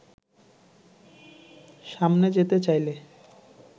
সামনে যেতে চাইলে